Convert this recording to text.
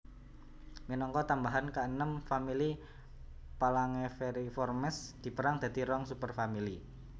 Minangka tambahan kaenem famili Phalangeriformes dipérang dadi rong superfamili